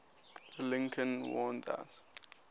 lincoln warned that